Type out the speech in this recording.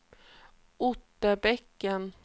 Otterbäcken